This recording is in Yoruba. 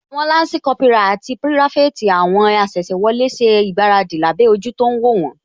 Àwọn lansi Kópírà àti pirafeti àwọn asese wọlé ṣe ìgbáradì lábẹ́ ojú tó ń wó wón